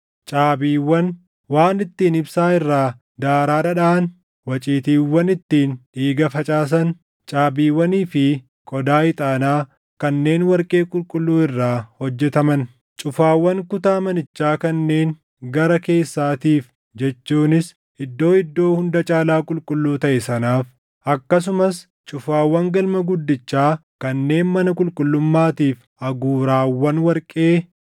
caabiiwwan, waan ittiin ibsaa irraa daaraa dhadhaʼan, waciitiiwwan ittiin dhiiga facaasan, caabiiwwanii fi qodaa ixaanaa kanneen warqee qulqulluu irraa hojjetaman; cufaawwan kutaa manichaa kanneen gara keessaatiif jechuunis Iddoo Iddoo Hunda Caalaa Qulqulluu taʼe sanaaf, akkasumas cufaawwan galma guddichaa kanneen mana qulqullummaatiif aguuraawwan warqee.